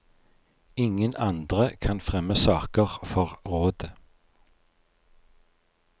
Ingen andre kan fremme saker for rådet.